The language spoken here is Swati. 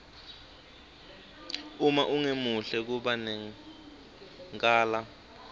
uma ungemuhle kuba nenkala